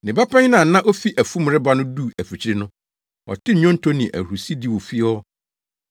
“Ne ba panyin a na ofi afum reba no duu afikyiri no, ɔtee nnwonto ne ahurusidi wɔ fie hɔ.